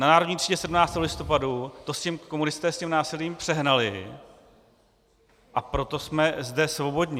Na Národní třídě 17. listopadu to komunisté s tím násilím přehnali, a proto jsme zde svobodní.